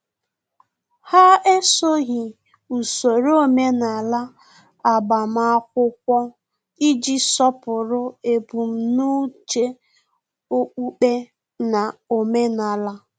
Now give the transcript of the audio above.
Ha esoghị usoro omenala agbamakwụkwọ iji sọpụrụ ebumnuche okpukpe na omenala